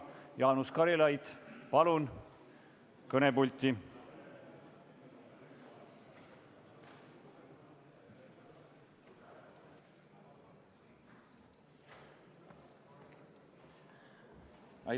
Jaanus Karilaid, palun kõnepulti!